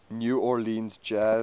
new orleans jazz